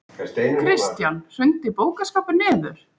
Kristján: Hrundi bókaskápur niður?